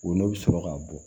O ne bɛ sɔrɔ ka bɔ